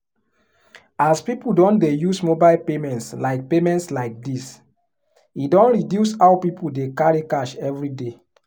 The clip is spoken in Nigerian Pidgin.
as people don dey use mobile payments like payments like this e don reduce how people dey carry cash everyday